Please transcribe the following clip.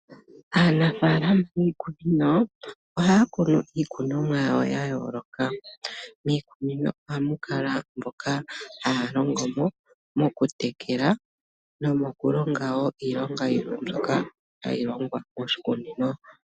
Aanafaalama yiikunino ohaya kunu iikunomwa yawo ya yooloka. Miikunino ohamu kala mboka haya longo mo , oku tekela noku longa woo iilonga yimwe mbyoka hayi longithwa moshi kunino.